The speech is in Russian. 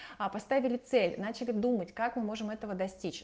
а поставили цель начали думать как мы можем этого достичь